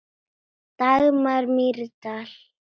Dagmar Mýrdal.